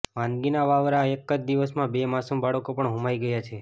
માંદગીના વાવરમાં એક જ દિવસમાં બે માસૂમ બાળકો પણ હોમાઈ ગયા છે